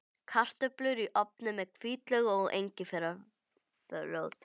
Kartöflur í ofni með hvítlauk og engiferrót